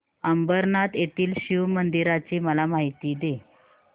अंबरनाथ येथील शिवमंदिराची मला माहिती दे